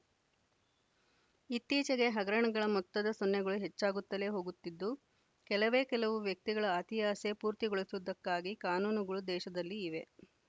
ಇತ್ತೀಚೆಗೆ ಹಗರಣಗಳ ಮೊತ್ತದ ಸೊನ್ನೆಗಳು ಹೆಚ್ಚಾಗುತ್ತಲೆ ಹೋಗುತ್ತಿದ್ದು ಕೆಲವೇ ಕೆಲವು ವ್ಯಕ್ತಿಗಳ ಅತಿಯಾಸೆ ಪೂರ್ತಿಗೊಳಿಸುವುದಕ್ಕಾಗಿ ಕಾನೂನುಗಳು ದೇಶದಲ್ಲಿ ಇವೆ